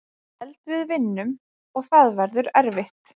Held við vinnum og það verður erfitt.